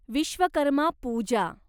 Vishwakarma Pooja